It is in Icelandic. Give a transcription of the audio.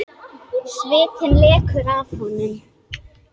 Svitinn lekur af honum.